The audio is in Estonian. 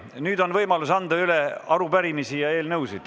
Nüüd on võimalus anda üle arupärimisi ja eelnõusid.